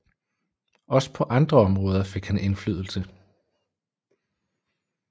Også paa andre områder fik han indflydelse